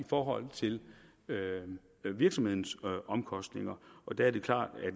forhold til virksomhedens omkostninger og der er det klart at